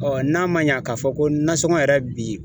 Ɔ n'a ma ɲa k'a fɔ ko nasɔngɔ yɛrɛ bi